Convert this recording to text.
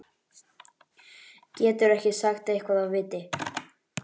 Geturðu ekki sagt eitthvað af viti?